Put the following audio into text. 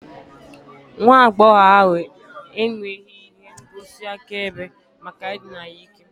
Nwa agbọghọ ahu enweghị ihe ngosi akaebe maka ịdịna ya n'ike